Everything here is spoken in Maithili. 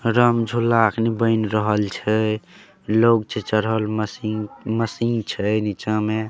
राम झुला अखनी बऐन रहल छै लोग छै चरहल मशीन मशीन छै निचा में--